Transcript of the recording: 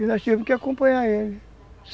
E nós tivemos que acompanhar ele.